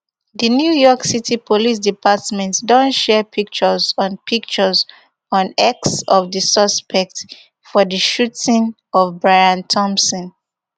di new york city police department don share pictures on pictures on x of di suspect for di shooting of brian thompson